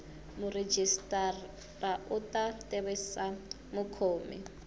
murhijisitara u ta tivisa mukhomi